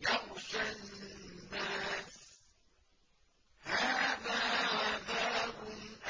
يَغْشَى النَّاسَ ۖ هَٰذَا عَذَابٌ